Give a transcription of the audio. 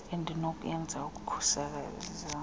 endinokuyenza ukukhusela ezona